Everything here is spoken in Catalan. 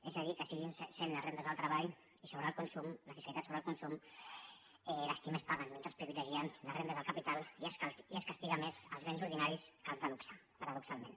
és a dir que segueixin sent les rendes del treball i la fiscalitat sobre el consum les qui més paguen mentre privilegien les rendes del capital i es castiguen més els béns ordinaris que els de luxe paradoxalment